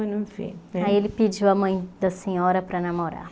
Aí ele pediu a mãe da senhora para namorar.